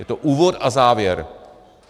Je to úvod a závěr.